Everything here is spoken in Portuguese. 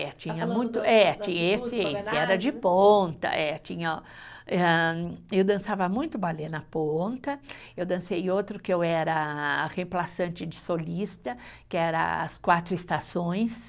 É, tinha muito, é esse e esse, era de ponta, eh tinha hã, eu dançava muito balé na ponta, eu dancei outro que eu era a de solista, que era as quatro estações,